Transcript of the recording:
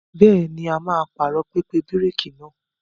Bẹ́ẹ̀ni, a máa pààrọ̀ pẹpẹ bíréékì náà.